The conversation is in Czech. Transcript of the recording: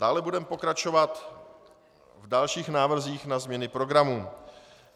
Dále budeme pokračovat v dalších návrzích na změny programu.